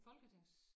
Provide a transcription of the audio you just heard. Folketings